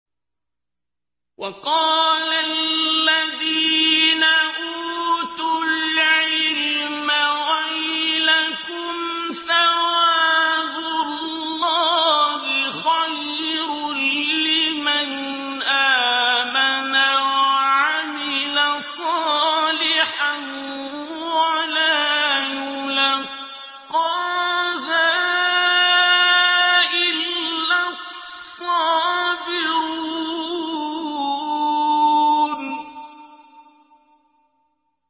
وَقَالَ الَّذِينَ أُوتُوا الْعِلْمَ وَيْلَكُمْ ثَوَابُ اللَّهِ خَيْرٌ لِّمَنْ آمَنَ وَعَمِلَ صَالِحًا وَلَا يُلَقَّاهَا إِلَّا الصَّابِرُونَ